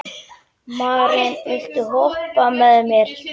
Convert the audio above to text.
Maren, viltu hoppa með mér?